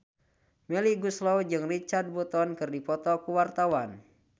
Melly Goeslaw jeung Richard Burton keur dipoto ku wartawan